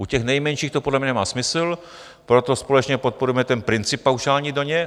U těch nejmenších to podle mě nemá smysl, proto společně podporujeme ten princip paušální daně.